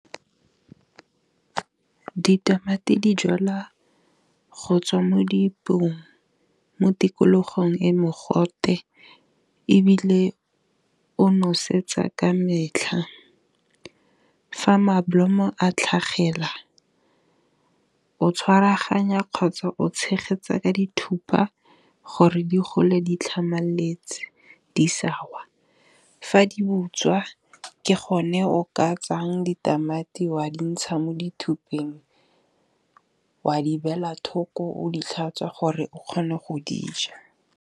Ditamati di jalwa go tswa mo dipeong, mo tikologong e mogote, ebile o nosetsa ka metlha. Fa malomo a tlhagelela o tshwaraganya kgotsa o tshegetsa ka dithuthupa gore di gole di tlhamaletse, di sa wa. Fa di butswa ke gone o ka tsayang ditamati wa di ntsha mo dithupeng wa di beela thoko, o di tlhatswa gore o kgone go dija.